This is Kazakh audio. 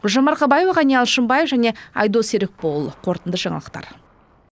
гүлжан марқабаева ғани алшымбаев және айдос серікболұлы қорытынды жаңалықтар